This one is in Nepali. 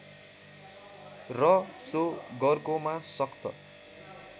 र सो गरकोमा सख्त